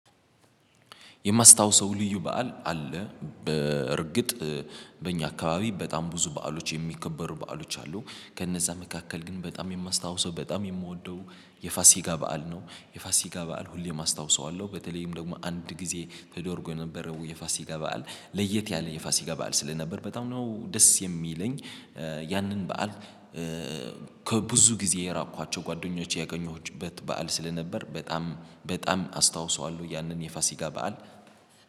የማስታውሰው ልዩ በዓል አለ። በእርግጥ በእኛ አካባቢ በጣም ብዙ በዓሎች የሚከበሩ በዓሎች አሉ። ከነዛ መካከል ግን በጣም የማስታውሰው በጣም የምወደው የፋሲካ በዓል ነው። የፋሲካ በዓል ሁሌም አስታውሰዋለሁ በተለይም ደግሞ አንድ ጊዜ ተደርጎ የነበረው የፋሲካ በዓል ለየት ያለ የፋሲካ በዓል ስለነበር በጣም ነው ደስ የሚለኝ። ያንን በዓል ከብዙ ጊዜ የራቅኳዋቸው ጓደኞቼ ያገኘሁበት በዓል ስለነበር በጣም በጣም አስታውሰዋለሁ። ያንን የፋሲካ በዓል